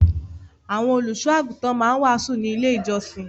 Àwọn olùṣọ́-àgùntàn máa ń wàásù ní Ilé-ìjọsìn.